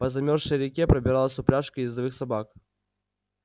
по замёрзшей реке пробиралась упряжка ездовых собак